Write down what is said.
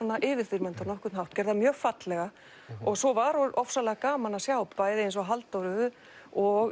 yfirþyrmandi á nokkurn hátt hún gerði það mjög fallega og svo var ofsalega gaman að sjá bæði eins og Halldóru og